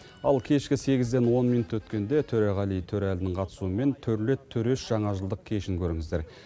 ал кешкі сегізден он минут өткенде төреғали төреәлінің қатысуымен төрлет төреш жаңа жылдық кешін көріңіздер